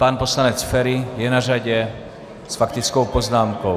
Pan poslanec Feri je na řadě s faktickou poznámkou.